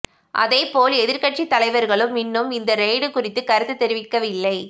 அதேபோல் எதிர்க்கட்சி தலைவர்களும் இன்னும் இந்த ரெய்டு குறித்து கருத்து தெரிவிக்கவில்லை